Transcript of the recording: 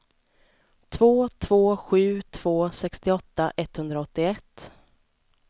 två två sju två sextioåtta etthundraåttioett